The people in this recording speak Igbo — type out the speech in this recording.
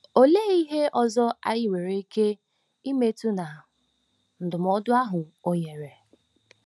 Olee ihe ọzọ anyị nwere ike ịmụta na ndụmọdụ ahụ o nyere?